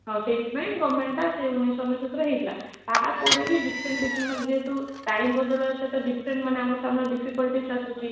ଆଉ ସେଇଥିପାଇଁ government ଟା ସେଇ ଉଣେଇସହ ଅନେଶ୍ଵତରେ ହେଇଥିଲା, ତା ପରେବି different different ମାନେ ଯେହେତୁ time ବଦଳରେ ସେ different ମାନେ ଆମ ସାମ୍ନାରେ difficulties ଆସୁଛି